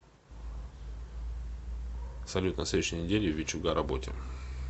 салют на следующей неделе в вичуга работе